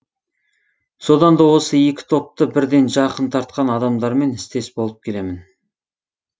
содан да осы екі топты бірден жақын тартқан адамдармен істес болып келемін